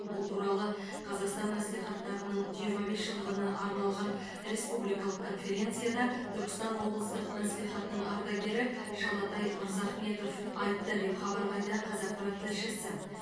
бұл туралы қазақстан мәслихаттарының жиырма бес жылдығына арналған республикалық конференцияда түркістан облыстық мәслихатының ардагері шалатай мырзахметов айтты деп хабарлайды қазақпарат тілшісі